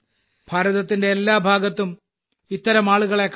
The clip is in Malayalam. ഭാരതത്തിന്റെ എല്ലാ ഭാഗത്തും ഇത്തരം ആളുകളെ കാണാം